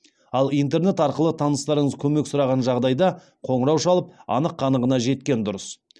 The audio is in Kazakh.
ал интернет арқылы таныстарыңыз көмек сұраған жағдайда қоңырау шалып анық қанығына жеткен дұрыс